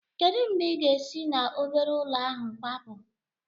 Kedu mgbe ị ga-esi na obere ụlọ ahụ kwapu?